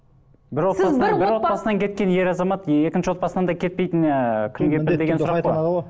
бір отбасынан кеткен ер азамат екінші отбасынан да кетпейтініне ы кім кепіл деген сұрақ қой